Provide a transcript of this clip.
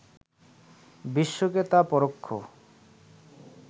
বিশ্বকে তা পরোক্ষ